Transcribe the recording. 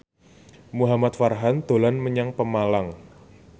Muhamad Farhan dolan menyang Pemalang